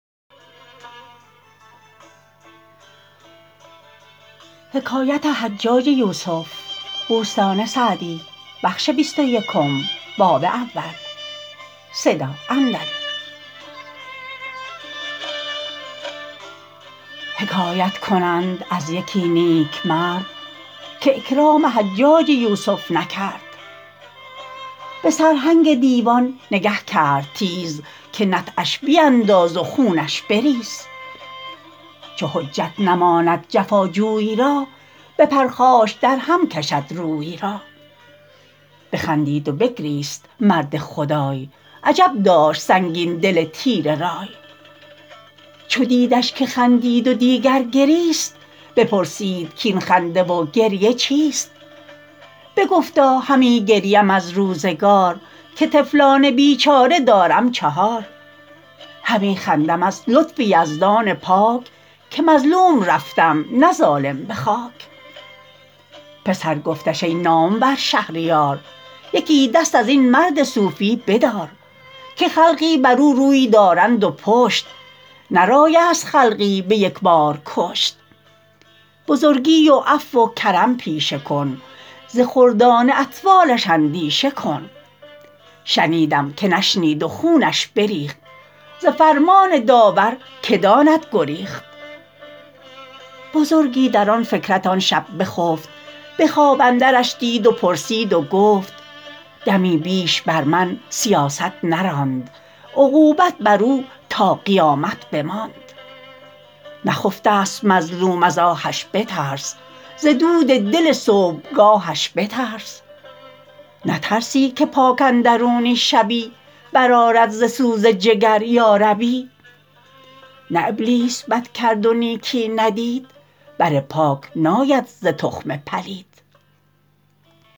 حکایت کنند از یکی نیکمرد که اکرام حجاج یوسف نکرد به سرهنگ دیوان نگه کرد تیز که نطعش بیانداز و خونش بریز چو حجت نماند جفا جوی را به پرخاش در هم کشد روی را بخندید و بگریست مرد خدای عجب داشت سنگین دل تیره رای چو دیدش که خندید و دیگر گریست بپرسید کاین خنده و گریه چیست بگفتا همی گریم از روزگار که طفلان بیچاره دارم چهار همی خندم از لطف یزدان پاک که مظلوم رفتم نه ظالم به خاک پسر گفتش ای نامور شهریار یکی دست از این مرد صوفی بدار که خلقی بر او روی دارند و پشت نه رای است خلقی به یک بار کشت بزرگی و عفو و کرم پیشه کن ز خردان اطفالش اندیشه کن شنیدم که نشنید و خونش بریخت ز فرمان داور که داند گریخت بزرگی در آن فکرت آن شب بخفت به خواب اندرش دید و پرسید و گفت دمی بیش بر من سیاست نراند عقوبت بر او تا قیامت بماند نخفته ست مظلوم از آهش بترس ز دود دل صبحگاهش بترس نترسی که پاک اندرونی شبی بر آرد ز سوز جگر یا ربی نه ابلیس بد کرد و نیکی ندید بر پاک ناید ز تخم پلید